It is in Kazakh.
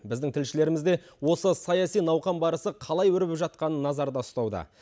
біздің тілшілеріміз де осы саяси науқан барысы қалай өрбіп жатқанын назарда ұстауда